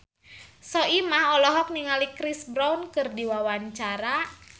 Soimah olohok ningali Chris Brown keur diwawancara